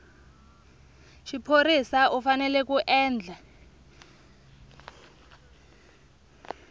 xiphorisa u fanele ku endla